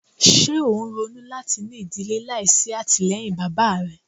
Ṣe o n ronu lati ni idile laisi atilẹyin baba rẹ? "